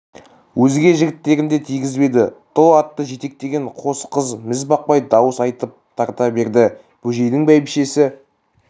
өзге жігіттерін де тигізбеді тұл атты жетектеген қос қыз мізбақпай дауыс айтып тарта берді бөжейдің бәйбішесі